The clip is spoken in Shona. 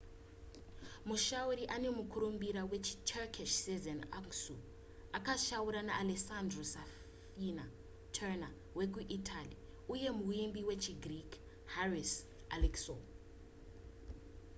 mushauri ane mukurumbira wechiturkish sezen aksu akashaura na alessandro safina tenor wekuitaly uye muimbi wechigreek haris alexiou